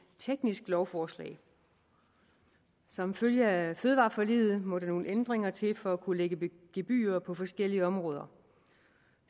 teknisk lovforslag som følge af fødevareforliget må der nogle ændringer til for at kunne lægge gebyrer på forskellige områder